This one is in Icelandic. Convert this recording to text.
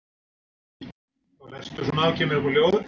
Er ég sá besti í heiminum?